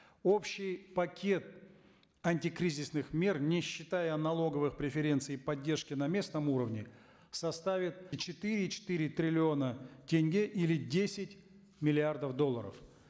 общий пакет антикризисных мер не считая налоговых преференций поддержки на местном уровне составит четыре и четыре триллиона тенге или десять миллиардов долларов